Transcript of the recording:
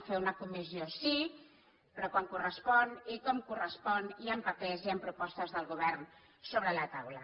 fer una comissió sí però quan correspon i com correspon i amb papers i amb propostes del govern sobre la taula